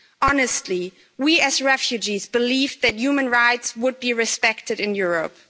Honestly, we as refugees believed that human rights would be respected in Europe.